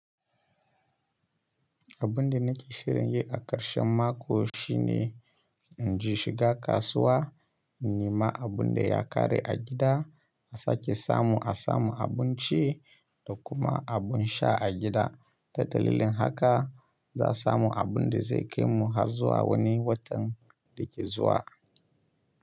Abun da nake shirin yi a ƙarshen mako shine in ji shiga kasuwa, in yi ma abun da ya kare a gida, a sake samu a samu abun ci da kuma abun sha a gida. Ta dalilin haka za samu abun da zai kai mu har zuwa wani watan da ke zuwa.